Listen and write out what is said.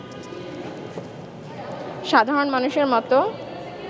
সাধারণ মানুষের মতো